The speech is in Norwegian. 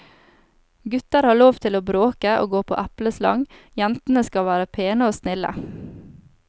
Gutter har lov til å bråke og gå på epleslang, jentene skal være pene og snille.